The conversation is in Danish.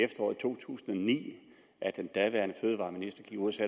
efteråret to tusind og ni at den daværende fødevareminister gik ud